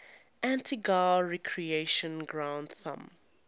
antigua recreation ground thumb